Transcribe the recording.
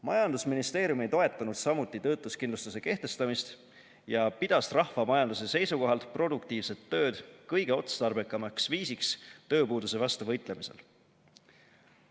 Majandusministeerium ei toetanud samuti töötuskindlustuse kehtestamist ja pidas rahvamajanduse seisukohalt produktiivset tööd kõige otstarbekamaks viisiks tööpuuduse vastu võitlemisel.